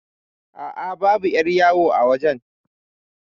Aa, babu 'yar yawo a wajan